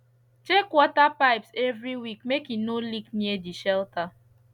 check water pipes every week make e no leak near de shelter